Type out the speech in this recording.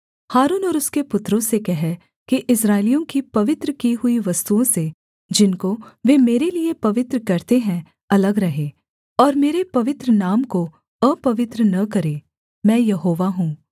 हारून और उसके पुत्रों से कह कि इस्राएलियों की पवित्र की हुई वस्तुओं से जिनको वे मेरे लिये पवित्र करते हैं अलग रहें और मेरे पवित्र नाम को अपवित्र न करें मैं यहोवा हूँ